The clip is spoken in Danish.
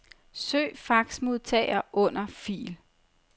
Søg faxmodtager under fil.